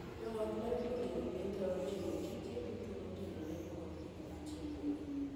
Joot ma yutogi ni piny thoro timo tije duto motenore kod iko achiel kuomgi.